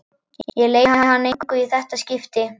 Ég leyni hann engu í þetta skipti.